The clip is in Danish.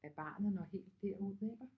At barnet når helt derud iggå